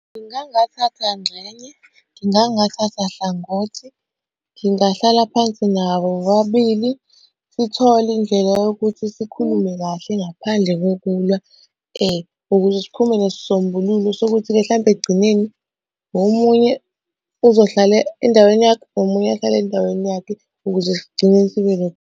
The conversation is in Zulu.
Ngingangathatha ngxenye, ngingangathatha hlangothi, ngingahlala phansi nabo bobabili sithole indlela yokuthi sikhulume kahle ngaphandle kokulwa ukuze siphume nesisombululo sokuthi-ke hlampe ekugcineni, omunye uzohlala endaweni yakhe, nomunye ahlale endaweni yakhe ukuze sigcine .